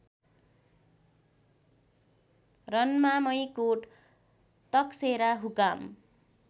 रन्मामैकोट तकसेरा हुकाम